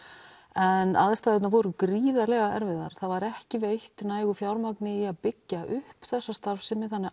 en aðstæðurnar voru gríðarlega erfiðar það var ekki veitt nægilegu fjármagni í að byggja upp þessa starfsemi þannig